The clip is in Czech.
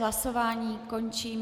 Hlasování končím.